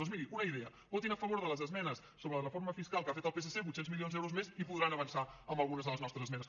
doncs miri una idea votin a favor de les esmenes sobre la reforma fiscal que ha fet el psc vuit cents milions d’euros més i podran avançar amb algunes de les nostres esmenes